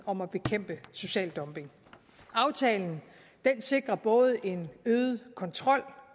om at bekæmpe social dumping aftalen sikrer både en øget kontrol